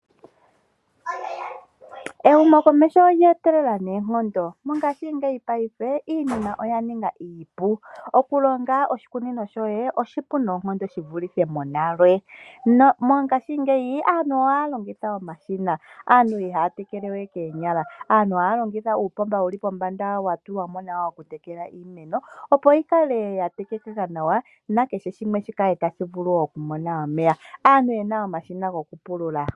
Ehumokomeho olye etelela noonkondo, mongaashingeyi paife iinima oya ninga iipu. Oku longa oshikunino shoye oshipu noonkondo shi vulithe monale, na mongaashingeyi aantu ohaya longitha omashina. Aantu ihaya tekele we koonyala. Aantu ohaya longitha uupomba wuli pombanÌda wa tulwa mo nawa woku tekela iimeno, opo yi kale ya tekekeka nawa, nakehe shimwe shi vule oku kala tadhi mono omeya. Aantu yena omashina goku pulula.